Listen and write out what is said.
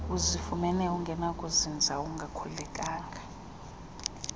uzifumana ungenakuzinza ungakhululekanga